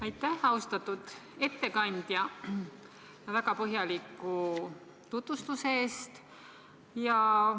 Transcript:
Aitäh, austatud ettekandja, väga põhjaliku tutvustuse eest!